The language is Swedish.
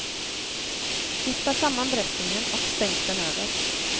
Vispa samman dressingen och stänk den över.